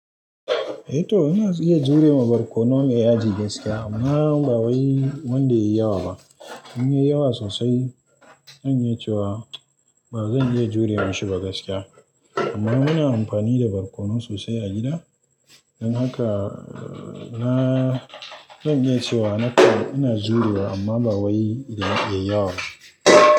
Eh to ina iya jure ma barkonon mai yaji gaskiya amma ba wai wanda ya yi yawa ba. In ya yi yawa sosai, zan yi cewa ba zan iya jurewa shi ba gaskiya. Amma muna amfani da barkonon sosai a gida. Don haka na, zan iyacewa nakan ina jurewa amma ba wai yayi yawa ba.